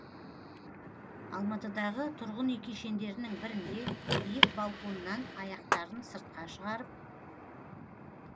алматыдағы тұрғын үй кешендерінің бірінде биік балконнан аяқтарын сыртқа шығарып